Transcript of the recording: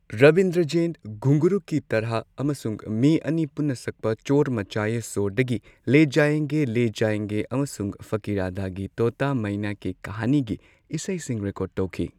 ꯔꯕꯤꯟꯗ꯭ꯔ ꯖꯩꯟ ꯘꯨꯡꯒꯔꯨ ꯀꯤ ꯇꯔꯍꯥ ꯑꯃꯁꯨꯡ ꯃꯤ ꯑꯅꯤ ꯄꯨꯟꯅ ꯁꯛꯄ ꯆꯣꯔ ꯃꯆꯥꯌꯦ ꯁꯣꯔꯗꯒꯤ ꯂꯦ ꯖꯥꯌꯦꯡꯒꯦ ꯂꯦ ꯖꯥꯌꯦꯡꯒꯦ ꯑꯃꯁꯨꯡ ꯐꯀꯤꯔꯥꯗꯒꯤ ꯇꯣꯇꯥ ꯃꯥꯏꯅꯥ ꯀꯤ ꯀꯍꯥꯅꯤ ꯒꯤ ꯏꯁꯩꯁꯤꯡ ꯔꯦꯀꯣꯔꯗ ꯇꯧꯈꯤ꯫